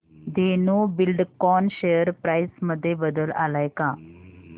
Dhenu Buildcon share price मध्ये बदल आलाय का